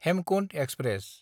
Hemkunt express